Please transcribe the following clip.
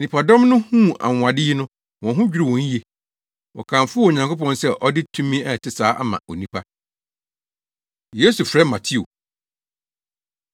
Nnipadɔm no huu anwonwade yi no, wɔn ho dwiriw wɔn yiye. Wɔkamfoo Onyankopɔn sɛ ɔde tumi a ɛte saa ama onipa. Yesu Frɛ Mateo